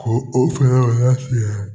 Ko o fɛn